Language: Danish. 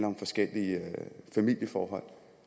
om forskellige familieforhold